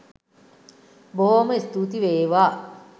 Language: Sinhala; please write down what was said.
බොහෝම ස්තූති වේවා.